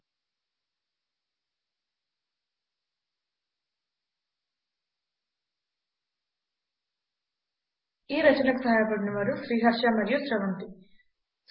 ఈ రచనకు సహాయపడినవారు శ్రీహర్ష అనువాదం చేసినవారి పేరు మరియు స్రవంతి రికార్డ్ చేసినవారి పేరు బళ్ళారి